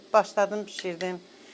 Mən də başladım, bişirdim.